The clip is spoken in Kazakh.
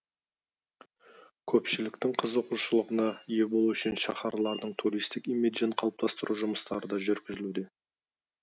көпшіліктің қызығушылығына ие болу үшін шаһарлардың туристік имиджін қалыптастыру жұмыстары да жүргізілуде